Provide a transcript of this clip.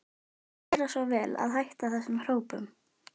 Viltu gera svo vel að hætta þessum hrópum!